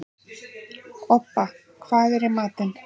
Obba, hvað er í matinn?